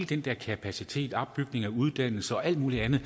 den der kapacitet og opbygning af uddannelse og alt muligt andet